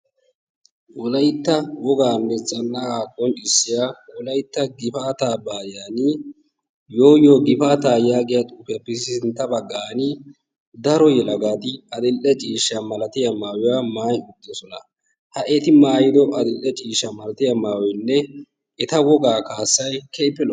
wolaytta wogaanne gifaataa qonnccissiya tiransporttiyaanne kaamiya ha asati cadiidi de'iyo koyro tokketidaagee de'iyo koyro go'iya gididi maayi uttidosona. eta wogaa kaassay keehippe lo'ees.